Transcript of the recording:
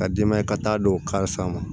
Ka denbaya ka taa don kari a ma